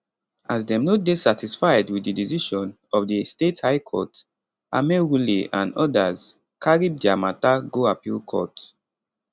as dem no dey satisfied wit di decision of di state high court amaewhule and odas carry dia mata go appeal court